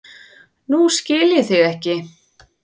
Nú skil ég þig ekki.